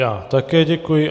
Já také děkuji.